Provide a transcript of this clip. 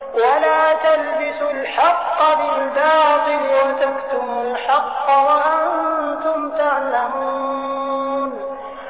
وَلَا تَلْبِسُوا الْحَقَّ بِالْبَاطِلِ وَتَكْتُمُوا الْحَقَّ وَأَنتُمْ تَعْلَمُونَ